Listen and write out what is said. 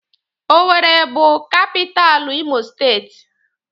Owerri bụ kapitalụ imo steeti.